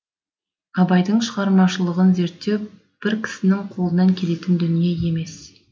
абайдың шығармашылығын зерттеу бір кісінің қолынан келетін дүние емес